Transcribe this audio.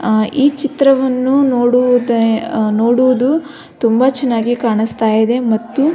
ಆ ಈ ಚಿತ್ರವನ್ನು ನೋಡುವು ನೋಡುವುದು ತುಂಬ ಚೆನ್ನಾಗಿ ಕಾಣಿಸ್ತಾ ಇದೆ ಮತ್ತು.